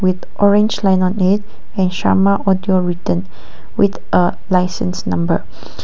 with orange line on it a shama audio written with a licence number.